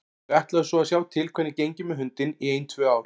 Þau ætluðu svo að sjá til hvernig gengi með hundinn í ein tvö ár.